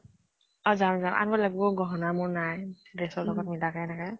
অ যাম যাম । আনিব লাগিব গহনা মোৰ নাই dress ৰ লগত মিলাকে এনেকে।